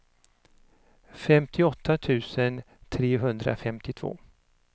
femtioåtta tusen trehundrafemtiotvå